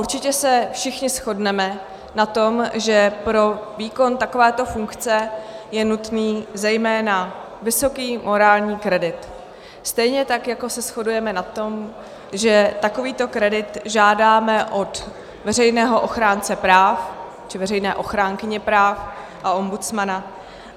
Určitě se všichni shodneme na tom, že pro výkon takovéto funkce je nutný zejména vysoký morální kredit, stejně tak jako se shodujeme na tom, že takovýto kredit žádáme od veřejného ochránce práv či veřejné ochránkyně práv a ombudsmana.